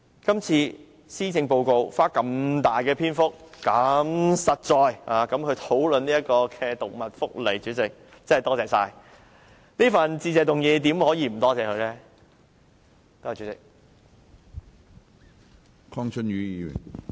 今次的施政報告花如此"大"篇幅如此"實在地"討論動物福利，主席，真的很感激，在這次的致謝議案內怎可以不感謝她呢？